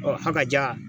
Ɔ a ka diya